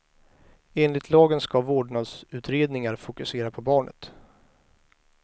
Enligt lagen ska vårdnadsutredningar fokusera på barnet.